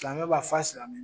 Silamɛ b'a fɔ a silamɛ.